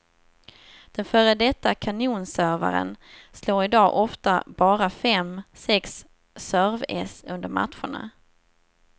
Den före detta kanonservaren slår i dag ofta bara fem, sex serveäss under matcherna.